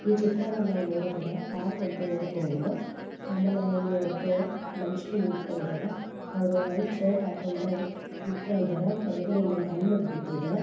ಈ ಚಿತ್ರವನ್ನು ನಾವು ನೋಡಿದರೆ ಪಾರ್ಕ್ ಅಂತ ಹೇಳಬಹುದು ಆಮೇಲೆ ಇಲ್ಲಿ ಒಬ್ಬರು ಮನುಷ್ಯರು ನಿಂತುಕೊಂಡು ಇದ್ದಾರೆ ಅವರು ವೈಟ್ ಷರ್ಟ್ ಹಾಕ್ಕೊಂಡು ನಿಂತುಕೊಂಡು ಇದ್ದಾರೆ ಕೆಳಗಡೆ ಇಲ್ಲಿ ಒಂದು ಹೆಲ್ಮೆಟ್ ಬಿದ್ದಿದೆ .